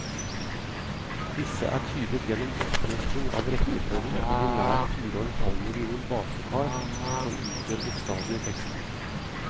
Disse er tydet gjennom oppnøsting av rekkefølgen på de nær fire og en halv million basepar som utgjør bokstavene i teksten.